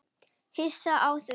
Hissa á því?